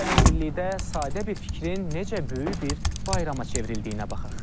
Gəlin birlikdə sadə bir fikrin necə böyük bir bayrama çevrildiyinə baxaq.